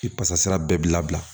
Ki kasara bɛɛ bi labila